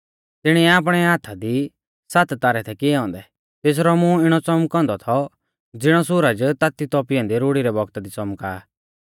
तिणीऐ आपणै हाथा दी सात तारै थै किऐ औन्दै और तेसरै मुंहा कु तेज़ दोधारी तलवार निकल़ा थी तेसरौ मूंह इणौ च़ौमकौ औन्दौ थौ ज़िणौ सुरज ताती तौपी ऐन्दी रुड़ी रै बौगता दी च़ौमका आ